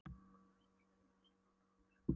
Hvað þú ert spaugilegur svona brúnaþungur!